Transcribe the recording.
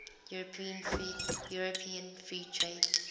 european free trade